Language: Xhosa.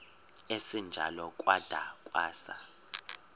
esinjalo kwada kwasa